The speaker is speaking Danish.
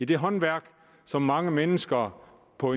det håndværk som mange mennesker på